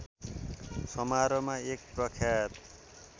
समारोहमा एक प्रख्यात